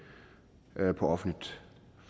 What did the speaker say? på offentligt